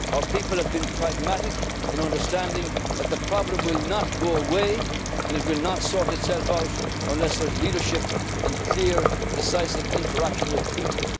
Our people have been pragmatic in understanding that the problem will not go away and will not sort itself out unless there is leadership and clear, decisive interaction with people.